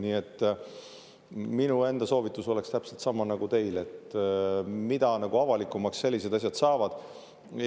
Nii et minu enda soovitus oleks täpselt sama nagu teil, et mida avalikumaks sellised asjad saavad,.